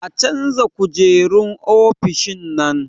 A canza kujerun ofishin nan